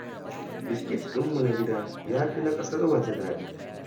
Biskit ɗinmu na gida ya fi na ƙasar waje daɗi